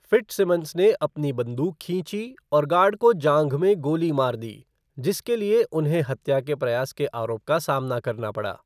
Fitzsimmons ने अपनी बंदूक खींची और गार्ड को जाँघ में गोली मार दी, जिनके लिए उन्हें हत्या के प्रयास के आरोप का सामना करना पड़ा।